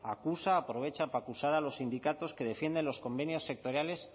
acusa aprovecha para acusar a los sindicatos que defienden los convenios sectoriales